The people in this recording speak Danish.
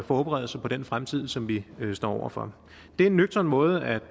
forberede sig på den fremtid som vi står over for det er en nøgtern måde at